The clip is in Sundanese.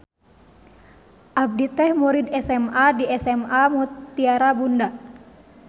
Abdi teh murid SMA di SMA Mutiara Bunda.